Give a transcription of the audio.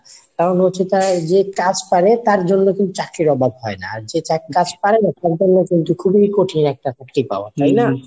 কারণ হচ্ছে তারা যে কাজ পারে তার জন্য কিন্তু চাকরির অভাব হয় না। আর যে কাজ পারে না তার জন্য খুবি কঠিন একটা চাকরি পাওয়া তাই নাহ?